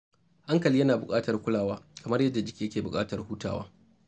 Hankali yana buƙatar kulawa kamar yadda jiki ke buƙatar hutawa.